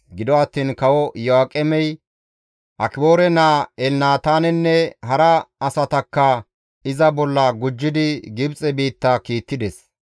Gido attiin Kawo Iyo7aaqemey Akiboore naa Elnataanenne hara asatakka iza bolla gujjidi Gibxe biitta kiittides.